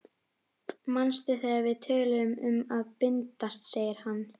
Manstu þegar við töluðum um að bindast, segir hann.